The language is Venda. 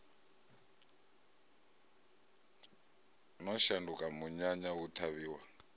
no shanduka munyanya hu ṱhavhiwa